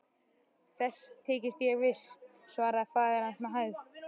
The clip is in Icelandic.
Þess þykist ég viss, svaraði faðir hans með hægð.